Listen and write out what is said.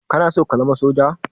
Kanason ka zama soja?